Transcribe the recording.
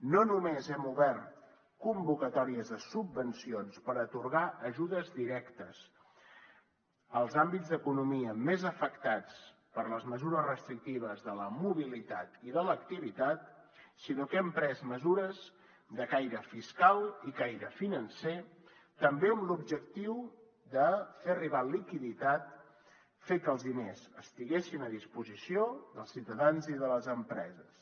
no només hem obert convocatòries de subvencions per atorgar ajudes directes als àmbits d’economia més afectats per les mesures restrictives de la mobilitat i de l’activitat sinó que hem pres mesures de caire fiscal i caire financer també amb l’objectiu de fer arribar liquiditat fer que els diners estiguessin a disposició dels ciutadans i de les empreses